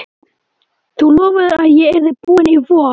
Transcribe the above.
Þú lofaðir að ég yrði búinn í vor!